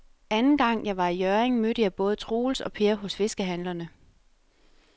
Anden gang jeg var i Hjørring, mødte jeg både Troels og Per hos fiskehandlerne.